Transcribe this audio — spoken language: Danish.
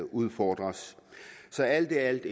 udfordres så alt i alt